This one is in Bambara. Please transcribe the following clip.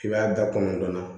I b'a da kɔnɔntɔn na